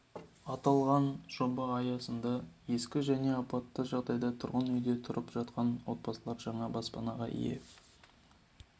аталған жоба аясында ескі және апатты жағдайдағы тұрғын үйде тұрып жатқан отбасылар жаңа баспанаға ие